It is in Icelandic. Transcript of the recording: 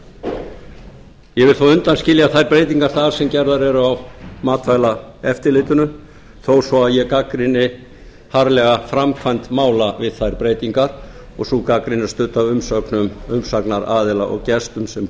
ég vil þó undanskilja breytingar þær sem eru gerðar eru á matvælaeftirlitinu þó svo ég gagnrýni harðlega framkvæmd mála við þær breytingar og sú gagnrýni er studd af umsögnum umsagnaraðila og gestum sem